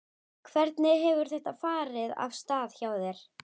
Hvernig hefur þetta farið af stað hjá þér?